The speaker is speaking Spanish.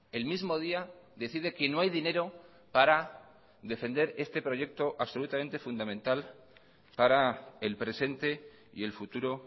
el mismo día decide que no hay dinero para defender este proyecto absolutamente fundamental para el presente y el futuro